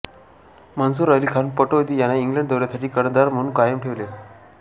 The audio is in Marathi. मन्सूर अली खान पटौदी यांना इंग्लंड दौऱ्यासाठी कर्णधार म्हणून कायम ठेवले